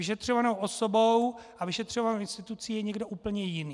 Vyšetřovanou osobou a vyšetřovanou institucí je někdo úplně jiný.